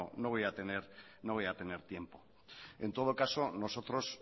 no voy a tener tiempo en todo caso nosotros